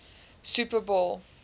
super bowl